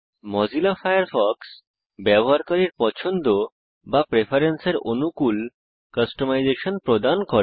Mozilla Firefox ব্যবহারকারীর পছন্দ বা প্রেফারেন্সের অনুকুল কাস্টমাইজেসন প্রদান করে